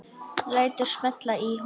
Lætur smella í honum.